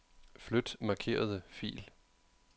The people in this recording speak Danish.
Flyt markerede fil.